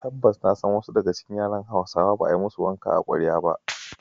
Tabbas na san cewa wasu daga cikin yaran Hausawa ba a yi ma su wanka a kwarya ba.